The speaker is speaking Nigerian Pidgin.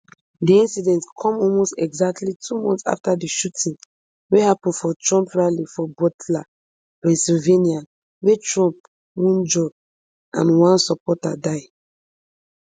di incident come almost exactly two months afta di shooting wey happun for trump rally for butler pennsylvania wia trump wunjure and one supporter die